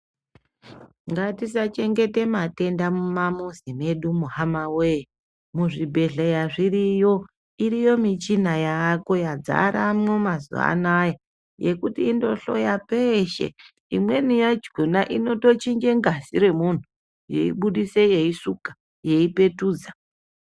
Ngatisachengeta matenda mumamizi mwedumo hama wee. Muzvibhedhleya zviriyo, iriyo michina yaako yadzaramwo mazuwa anaya yekuti indohloya peshe. Imweni yakhona inotochinja ngazi remuntu yeibudisa yeisuka yeipetudza.